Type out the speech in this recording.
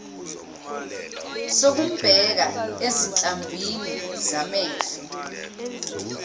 sokumbheka ezinhlamvini zamehlo